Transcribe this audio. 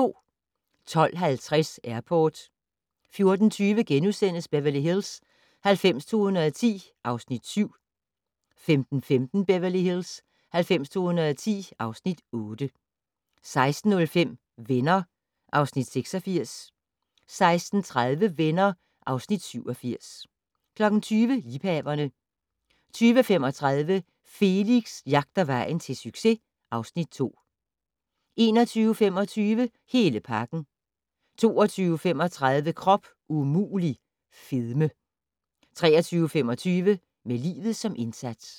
12:50: Airport 14:20: Beverly Hills 90210 (Afs. 7)* 15:15: Beverly Hills 90210 (Afs. 8) 16:05: Venner (Afs. 86) 16:30: Venner (Afs. 87) 20:00: Liebhaverne 20:35: Felix jagter vejen til succes (Afs. 2) 21:25: Hele pakken 22:35: Krop umulig - fedme 23:25: Med livet som indsats